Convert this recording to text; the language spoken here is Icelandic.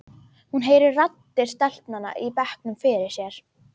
Hún heyrir raddir stelpnanna í bekknum fyrir sér.